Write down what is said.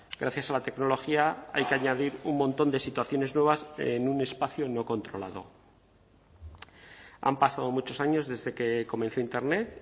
gracias a la tecnología hay que añadir un montón de situaciones nuevas en un espacio no controlado han pasado muchos años desde que comenzó internet